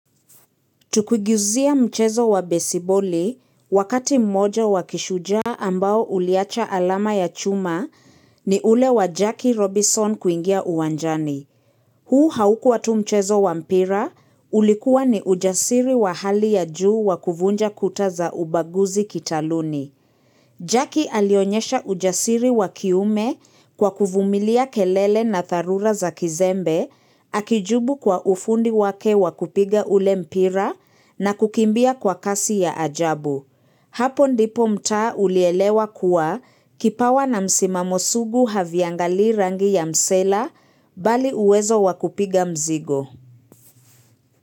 Tukiguzia mchezo wa besiboli wakati mmoja wakishujaa ambao uliacha alama ya chuma ni ule wa Jackie Robinson kuingia uwanjani. Huu haukua tu mchezo wa mpira ulikuwa ni ujasiri wa hali ya juu wakuvunja kuta za ubaguzi kitaluni. Jackie alionyesha ujasiri wakiume kwa kuvumilia kelele na tharura za kizembe, akijibu kwa ufundi wake wakupiga ule mpira na kukimbia kwa kasi ya ajabu. Hapo ndipo mtaa ulielewa kuwa kipawa na msimamo sugu haviangali rangi ya msela bali uwezo wakupiga mzigo.